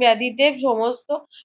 বেধীদের সমস্ত